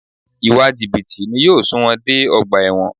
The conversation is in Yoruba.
Ìwà jìbìtì ni yóò sun wọn dé ọgbà ẹ̀wọ̀n